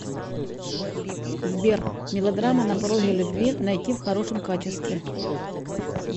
сбер мелодрама на пороге любви найти в хорошем качестве